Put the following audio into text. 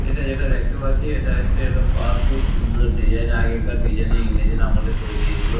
এটা যেটা দেখতে পাচ্ছি এটা হচ্ছে একটা পার্ক খুব সুন্দর ডিজাইন এ আগেকার দিনের ডিজাইন এ ইংরেজ এর আমলে তৈরী এগুলো ।